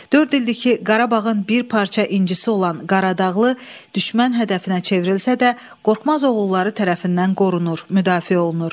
Dörd ildir ki, Qarabağın bir parça incisi olan Qaradağlı düşmən hədəfinə çevrilsə də, qorxmaz oğulları tərəfindən qorunur, müdafiə olunur.